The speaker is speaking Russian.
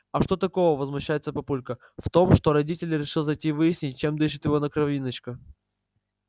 а что такого возмущается папулька в том что родитель решил зайти выяснить чем дышит его кровиночка